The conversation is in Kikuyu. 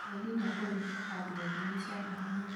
tonginya ũrĩhe andũ othe mĩcara hamwe